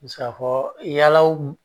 Me se ka fɔ yalaw